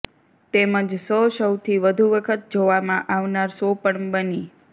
તેમજ શો સૌથી વધુ વખત જોવામાં આવનાર શો પણ બની